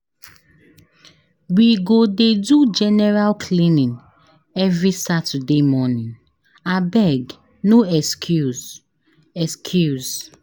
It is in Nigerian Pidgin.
We go dey do general cleaning every Saturday morning, abeg no excuse excuse.